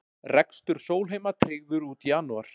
Rekstur Sólheima tryggður út janúar